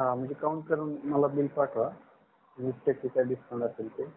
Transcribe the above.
हा म्हणजे count करून मला bill पाठवा वीस टक्केचा discount असेल ते